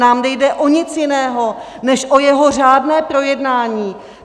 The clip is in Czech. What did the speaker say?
Nám nejde o nic jiného než o jeho řádné projednání.